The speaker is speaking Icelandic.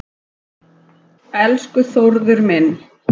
Elsku Þórður minn.